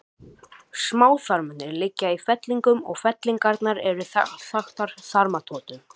Smáþarmarnir liggja í fellingum og fellingarnar eru þaktar þarmatotum.